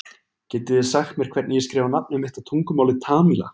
getið þið sagt mér hvernig ég skrifa nafnið mitt á tungumáli tamíla